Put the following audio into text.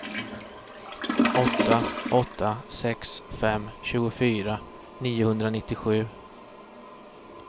åtta åtta sex fem tjugofyra niohundranittiosju